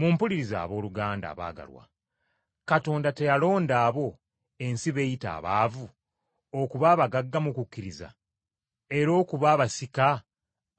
Mumpulirize, abooluganda abaagalwa, Katonda teyalonda abo ensi b’eyita abaavu, okuba abagagga mu kukkiriza, era okuba abasika